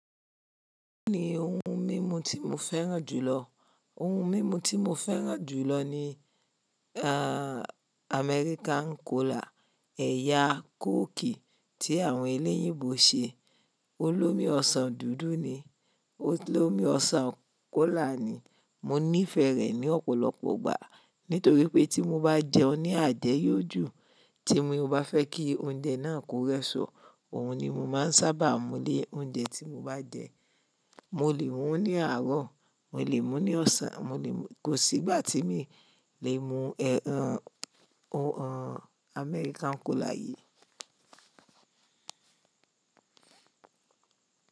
Kí ni ohun mímu tí mo fẹ́ràn jùlọ? Ohun mímu tí mo fẹ́ràn jùlọ ni, American Kola, ẹ̀yà kókì tí àwọn elẹ́yìnbo ṣe. Ólomi ọsàn dúdú ni, ólomi ọsàn kọ́là ni. Mo nífẹ̀ẹ́ rẹ̀ ní ọ̀pọ̀lọpọ̀ igbà nítorí pé tí mo bá jẹun ní àjẹ́ yó jù, tí mo bá fẹ́ kí oúnjẹ náà kó rẹsọ, òhun ni mo máa n sábà mú lé oúnjẹ tí mo bá jẹ. Mo lè mu ú ní àárọ̀, mo lè mu ní ọ̀sán, mo lè mu, kò sí ìgbà tí mi lè mu, ohun American Kola yìí.